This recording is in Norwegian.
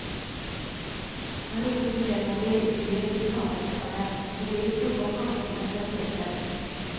Han roper fremover i flyet til tandemhopperne, og ber de plukke opp hanskene fra setet.